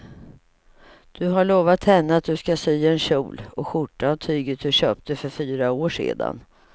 Du har lovat henne att du ska sy en kjol och skjorta av tyget du köpte för fyra år sedan.